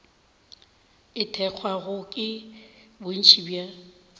e thekgwago ke bontši bja